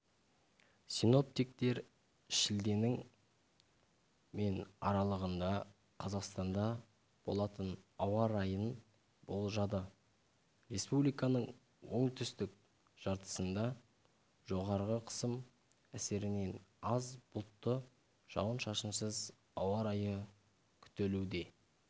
синоптиктер шілденің мен аралығында қазақстанда болатын ауа райын болжады республиканың оңтүстік жартысында жоғары қысым әсерінен аз бұлтты жауын-шашынсыз ауа райы күтілуде